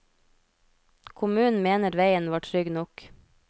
Kommunen mener veien var trygg nok.